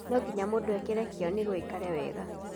No nginya mũndũ ekĩre kĩo nĩguo aikare wega.